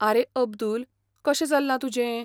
आरे अब्दुल, कशें चल्लां तुजें?